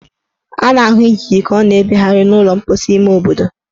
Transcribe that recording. A na-ahụ ijiji ka ọ na-ebegharị n' ụlọ mposi ime obodo.